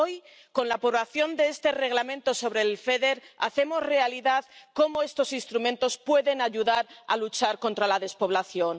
Hoy, con la aprobación de este Reglamento sobre el FEDER, hacemos realidad que estos instrumentos puedan ayudar a luchar contra la despoblación.